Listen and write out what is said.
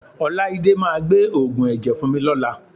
Ọláídé máa gbé òògùn ẹ̀jẹ̀ fún mi lọ́la